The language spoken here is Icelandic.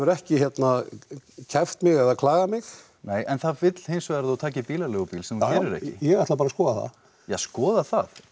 ekki hérna kært mig eða klagað mig nei en það vill hins vegar að þú takir bílaleigubíl sem þú gerir ekki ég ætla bara að skoða það ja skoða það